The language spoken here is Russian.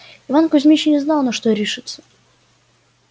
иван кузмич не знал на что решиться